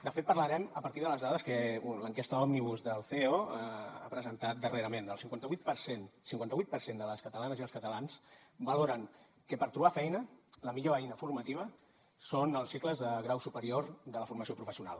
de fet parlarem a partir de les dades que l’enquesta òmnibus del ceo ha presentat darrerament el cinquanta vuit per cent cinquanta vuit per cent de les catalanes i els catalans valoren que per trobar feina la millor eina formativa són els cicles de grau superior de la formació professional